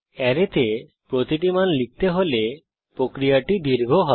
অ্যারেতে প্রতিটি মান লিখতে হলে প্রক্রিয়াটি দীর্ঘ হবে